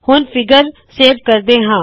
ਹੁਣ figure save ਕਰਦੇ ਹਾ